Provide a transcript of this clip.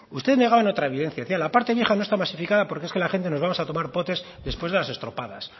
usted negaba otra evidencia decía la parte vieja no está masificada pro que es que la gente nos vamos a tomar potes después de las estropadas